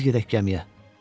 Tez gedək gəmiyə.